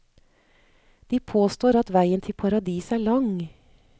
De påstår at veien til paradis er lang.